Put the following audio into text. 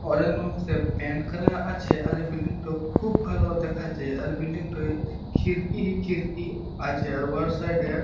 Paint করা আছে আর এই বিল্ডিং - টো খুব ভালো দেখাচ্ছে এর বিল্ডিং - তে খিড়কি ই খিড়কি আছে। আর ওয়া সাইড- এ --